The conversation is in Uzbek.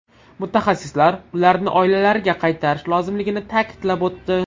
Mutaxassislar ularni oilalariga qaytarish lozimligini ta’kidlab o‘tdi.